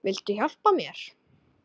Viltu hjálpa mér?